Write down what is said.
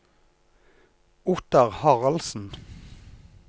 Ottar Haraldsen